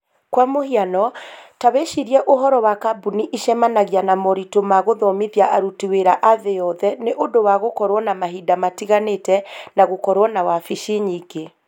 Kwa mũhiano, ta wĩcirie ũhoro wa kambuni ĩcemanagia na moritũ ma gũthomithia aruti wĩra a thĩ yothe nĩ ũndũ wa gũkorũo na mahinda matiganĩte na gũkorũo na wabici nyingĩ.